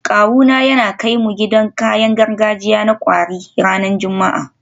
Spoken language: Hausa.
Kawuna yana kai mu gidan kayan gargajiya na kwari ranar Juma'a